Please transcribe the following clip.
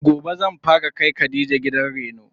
Gobe zan fara kai khadija gidan reno.